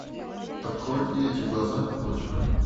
открой и эти глаза напротив